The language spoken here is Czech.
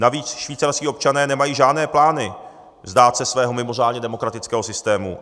Navíc švýcarští občané nemají žádné plány vzdát se svého mimořádně demokratického systému.